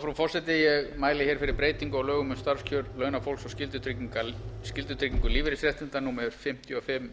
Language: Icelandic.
frú forseti ég mæli hér fyrir um breytingu á lögum um starfskjör launafólks og skyldutryggingu lífeyrisréttinda númer fimmtíu og fimm